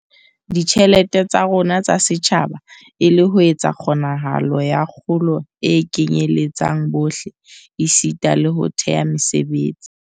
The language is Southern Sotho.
Ditjhelete tsa rona tsa setjhaba e le ho etsa kgonahalo ya kgolo e kenyeletsang bohle esita le ho thea mesebetsi.